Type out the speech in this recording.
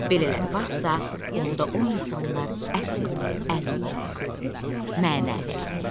Belələri varsa, onda o insanlar əsl əlildir, mənəvi əlil.